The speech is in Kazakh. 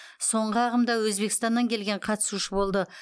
соңғы ағымда өзбекстаннан келген қатысушы болды